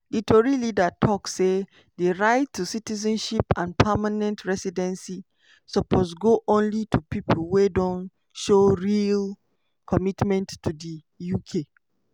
di tory leader tok say di right to citizenship and permanent residency "suppose go only to pipo wey don show real commitment to di uk".